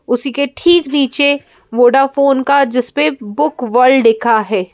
उसी के ठीक नीचे वोडाफोन का जिस पे बुक वर्ल्ड लिखा है।